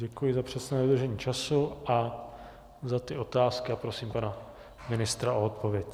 Děkuji za přesné dodržení času a za ty otázky a prosím pana ministra o odpověď.